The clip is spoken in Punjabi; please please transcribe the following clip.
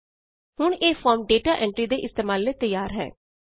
ਹੁਣ ਇਹ ਫੋਰਮ ਡੇਟਾ ਐਂਟਰੀ ਦੇ ਇਸਤੇਮਾਲ ਲਈ ਤਿਆਰ ਹੈ